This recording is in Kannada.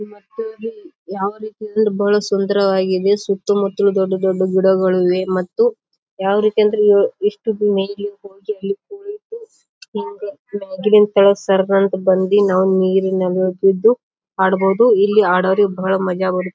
ಮತ್ತು ಇಲ್ಲಿ ಯಾವ ರೀತಿ ಅಂದ್ರ ಬಹಳ ಸುಂದರವಾಗಿದೆ ಸುತ್ತ ಮುತ್ತಲು ದೊಡ್ಡ ದೊಡ್ಡ ಗಿಡಗಳಿವೆ ಮತ್ತು ಯಾವ್ ರೀತಿ ಅಂದ್ರೆ ಇವು ಎಷ್ಟು ಮೈಲಿ ಇರಬಹುದು ಈ ತರ ಸರ್ಗಳ ಬಂದಿ ನಾವು ನೀರಿನ ಹೋಗಿದ್ದು ಆಡಬಹುದು. ಇಲ್ಲಿ ಆಡೋರಿಗೆ ಬಹಳ ಮಜ ಬರು--